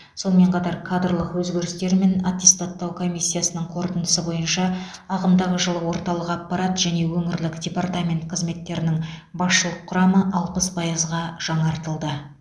сонымен қатар кадрлық өзгерістер мен аттестаттау комиссиясының қорытындысы бойынша ағымдағы жылы орталық аппарат және өңірлік департамент қызметтерінің басшылық құрамы алпыс пайызға жаңартылды